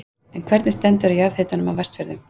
En hvernig stendur á jarðhitanum á Vestfjörðum?